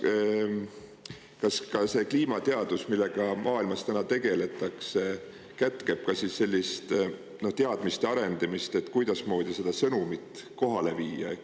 Kas see kliimateadus, millega täna maailmas tegeletakse, kätkeb ka sellist teadmiste arendamist, et kuidasmoodi seda sõnumit kohale viia?